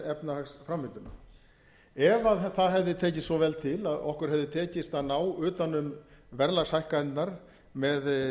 efnahagsframvinduna ef það hefði tekist svo vel til að okkur hefði tekist að ná utan um verðlagshækkanirnar með